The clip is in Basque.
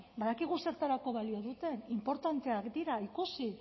badakigu zertarako balio duten inportanteak dira ikusi